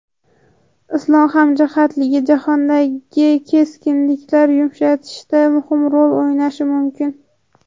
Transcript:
Islom hamjihatligi jahondagi keskinlikni yumshatishda muhim rol o‘ynashi mumkin.